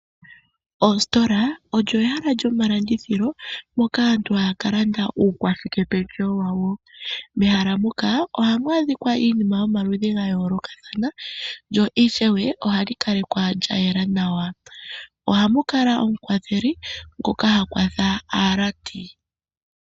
Oositola olyo ehala lyoma landithilo moka aantu haya ka landa uukashike pendjewo wayo. Mehala moka ohamu adhikwa iinima yomaludhi gayolokathana lyo ishewe ohali kalekwa lyayela nawa. Oha mu kala omu kwatheli ngoka ha kwatha aalandi.